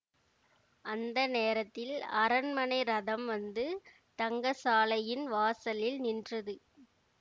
அந்த நேரத்தில் அரண்மனை ரதம் வந்து தங்கசாலையின் வாசலில் நின்றது